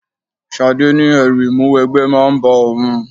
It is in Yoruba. Ṣadé ní ẹrù ìmúwẹgbẹ́ máa ń bá òun.